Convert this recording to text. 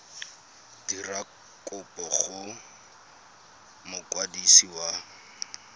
dira kopo go mokwadisi wa